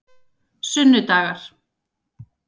sunnudagar